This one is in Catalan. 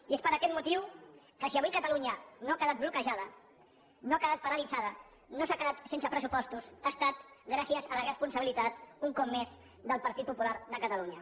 i és per aquest motiu que si avui catalunya no ha quedat bloquejada no ha quedat paralitzada no s’ha quedat sense pressupostos ha estat gràcies a la responsabilitat un cop més del partit popular de catalunya